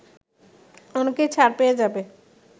অনেকেই ছাড় পেয়ে যাবে”